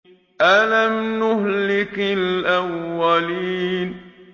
أَلَمْ نُهْلِكِ الْأَوَّلِينَ